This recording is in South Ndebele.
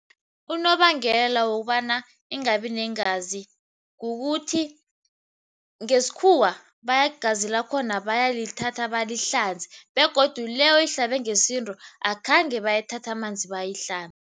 Unobangela wokobana ingabi neengazi kukuthi ngesikhuwa igazi lakhona bayalithatha balihlanze begodu le oyihlabe ngesintu akhange bayithathe amanzi